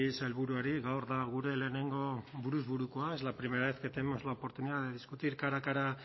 sailburuari gaur da gure lehenengo buruz burukoa es la primera vez que tenemos la oportunidad de discutir cara a cara